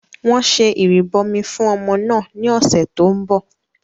Wọ́n ṣe ìrìbọmi fún ọmọ náà ní ọ̀sẹ̀ tó ń bọ̀